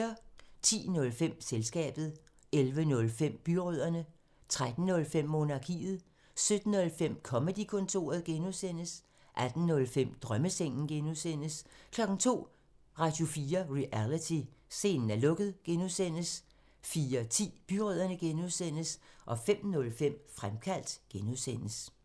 10:05: Selskabet 11:05: Byrødderne 13:05: Monarkiet 17:05: Comedy-kontoret (G) 18:05: Drømmesengen (G) 02:00: Radio4 Reality: Scenen er lukket (G) 04:10: Byrødderne (G) 05:05: Fremkaldt (G)